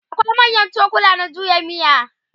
akwai manyan cokula na juya miya